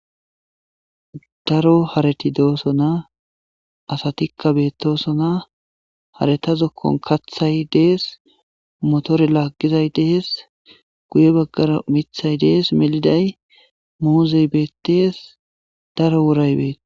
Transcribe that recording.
daro harati dooso na asatikka beettosona haretazokkon kathay dees motore laaggizay dees guye baggaro mithay dees meliday moozey beettees daro wuray beeti